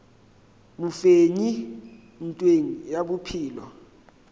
mofenyi ntweng ye ya bophelo